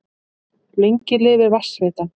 Lengi lifi Vatnsveitan!